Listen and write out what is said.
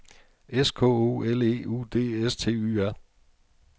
S K O L E U D S T Y R